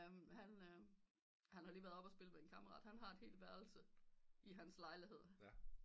Jamen han han har lige være oppe og spille ved en kammerat han har et helt værelse i hans lejlighed